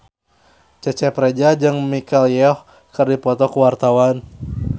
Cecep Reza jeung Michelle Yeoh keur dipoto ku wartawan